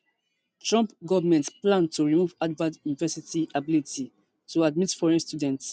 trump goment plan to remove harvard university ability to admit foreign students